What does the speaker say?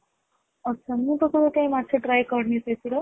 ଆଛା ମୁଁ ତ କେବେ କାଇଁ ମାଛ try କରିନି ସେଥିରେ